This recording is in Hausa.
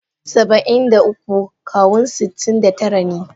Saba'in da uku Kawun sitin da tara ne.